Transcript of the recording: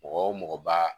Mɔgɔ wo mɔgɔ ba